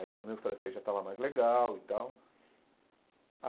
Aí já o meu francês já estava mais legal e tal